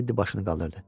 Teddy başını qaldırdı.